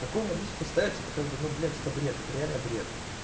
такую наличку ставить это как бы ну блять это бред это реально бред